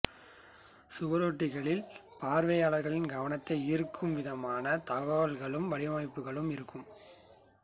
சுவரொட்டிகளில் பார்வையாளரின் கவனத்தை ஈர்க்கும் விதமாகத் தகவலும் வடிவமைப்பும் இருக்கும்